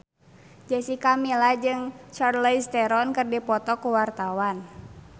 Jessica Milla jeung Charlize Theron keur dipoto ku wartawan